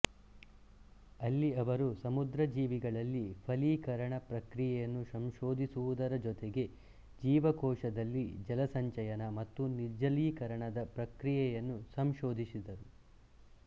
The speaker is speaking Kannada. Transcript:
ಅಲ್ಲಿಅವರು ಸಮುದ್ರ ಜೀವಿಗಳಲ್ಲಿ ಫಲೀಕರಣ ಪ್ರಕ್ರಿಯೆಯನ್ನು ಸಂಶೋಧಿಸುವುದರ ಜೊತೆಗೆ ಜೀವಕೋಶದಲ್ಲಿ ಜಲಸಂಚಯನ ಮತ್ತು ನಿರ್ಜಲೀಕರಣದ ಪ್ರಕ್ರಿಯೆಯನ್ನು ಸಂಶೋಧಿಸಿದರು